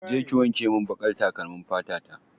Je ki wankemin baƙar takalmin fata ta!